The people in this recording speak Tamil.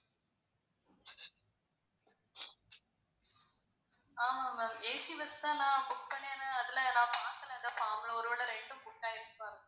ஆமா ma'am AC bus தான் நான் book பண்ணேன் ஆனா அதுல நான் மாத்தல அந்த form ல ஒரு வேளை ரெண்டும் book ஆயிடுச்சா